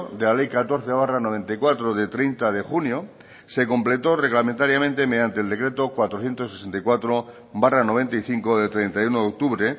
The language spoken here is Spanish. de la ley catorce barra noventa y cuatro de treinta de junio se completó reglamentariamente mediante el decreto cuatrocientos sesenta y cuatro barra noventa y cinco de treinta y uno de octubre